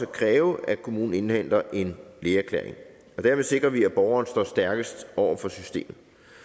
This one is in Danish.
kræve at kommunen indhenter en lægeerklæring derved sikrer vi at borgeren står stærkest over for systemet